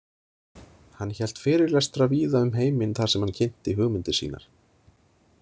Hann hélt fyrirlestra víða um heiminn þar sem hann kynnti hugmyndir sínar.